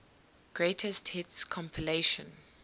greatest hits compilation